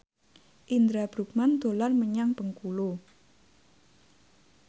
Indra Bruggman dolan menyang Bengkulu